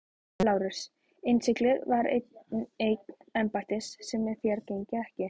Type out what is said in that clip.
LÁRUS: Innsiglið er eign embættis sem þér gegnið ekki.